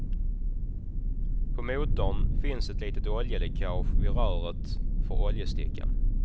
På motorn finns ett litet oljeläckage vid röret för oljestickan.